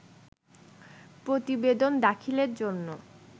প্রতিবেদন দাখিলের জন্য